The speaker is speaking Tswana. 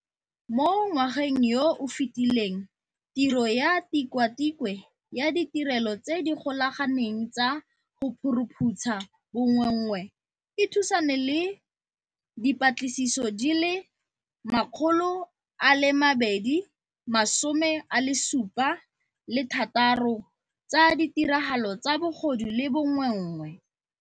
Mo ngwageng yo o fetileng, tiro ya Tikwatikwe ya Ditirelo tse di Golaganeng tsa go Phuruphutsha Bonweenwee e thusane le dipatlisiso di le 276 tsa ditiragalo tsa bogodu le bonweenwee.